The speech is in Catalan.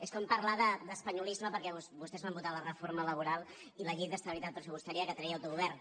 és com parlar d’espanyolisme perquè vostès van votar la reforma laboral i la llei d’estabilitat pressupostària que treia autogovern